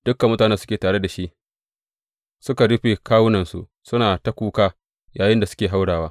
Dukan mutanen da suke tare da shi suka rufe kawunansu suna ta kuka yayinda suke haurawa.